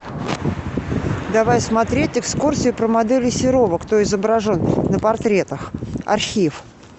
давай смотреть экскурсию про моделей серова кто изображен на портретах архив